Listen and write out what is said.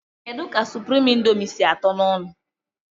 Kedụ ka suprime índomi sị àtó n' ọṅụ?